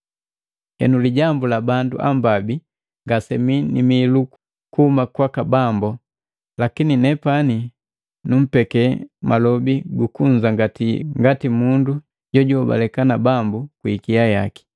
Henu, lijambu la bandu ambabi ngasemii ni miilu kuhuma kwaka Bambu, lakini nepani numpeke malobi gukunzangati ngati mundu jojuhobaleka na Bambu kwi ikia yaki.